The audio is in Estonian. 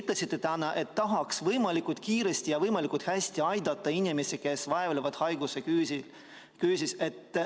Te ise ütlesite, et tahaksite võimalikult kiiresti ja võimalikult hästi aidata inimesi, kes vaevlevad haiguse küüsis.